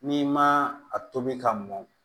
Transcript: N'i ma a tobi ka mɔn